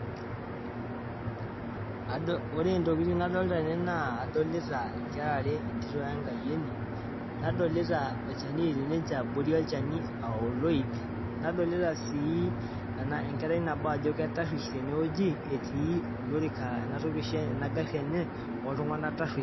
Ajo ore intokitin nadolita tene naa adolita inkera aare, etito we enkayioni. Nadolita olchani otii ninche abori olchani ah oloip. Nadolita sii enkerai nabo ajo ketaruesh tene wueji etii olorika ena toki oshi ena gaari enye oltunganak taruesh.